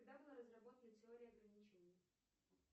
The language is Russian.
когда была разработана теория ограничений